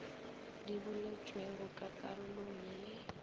di boletšwego ka karolong ye